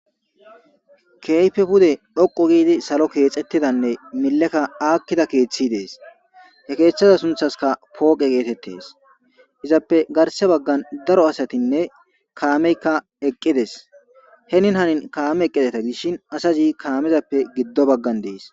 Keeyfe pude dhoqu giidi salo keexettidanne mileka aakkida keeththi dees he keeththada sunthaska pooqe geetettes izappe garse baggan daro asatinne kaameykka eqqides he nin hanin kaame eqqideta gishin asayi kaamezappe giddo baggan dees.